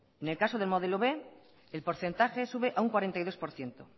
en el caso de modelo b el porcentaje sube a un cuarenta y dos por ciento